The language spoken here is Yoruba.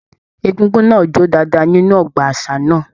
Egúngún náà jó dáadáa nínú ọgbà àṣà náà.